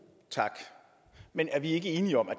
tak men er vi ikke enige om